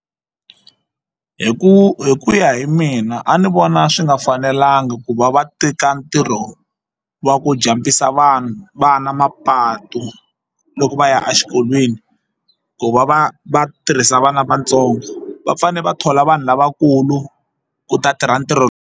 Hi ku hi ku ya hi mina a ni vona swi nga fanelanga ku va va teka ntirho wa ku jump-isa vanhu vana mapatu loko va ya exikolweni ku va va va tirhisa vana vatsongo va fanele va thola vanhu lavakulu ku ta tirha ntirho.